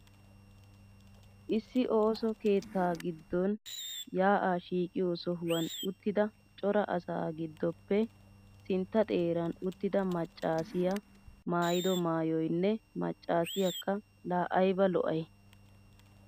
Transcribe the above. Issi ooso keettaa giddon yaa'aa shiiqiyo sohuwan uttida cora asaa giddoppe sintta xeeran uttida maccaasiya maayido maayoynne maccaasiyakka laa ayba lo'ay!